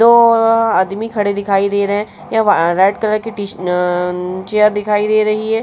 दो आदमी खड़े दिखाई दे रहे है। यब रेड कलर की टी अ चेयर दिखाई दे रही है।